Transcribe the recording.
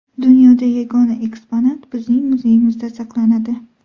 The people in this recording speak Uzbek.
Dunyoda yagona eksponat bizning muzeyimizda saqlanadi.